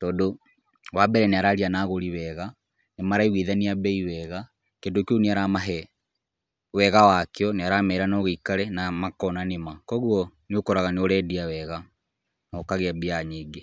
tondũ wa mbere nĩ araria na gũri wega, nĩ maraiguithania mbei wega, kĩndũ kĩu nĩ aramahe wega wakĩo, nĩ aramera no gĩikare na makona nĩ ma, kũguo nĩ ũkoraga nĩ urendia wega na ũkagĩa mbia nyingĩ.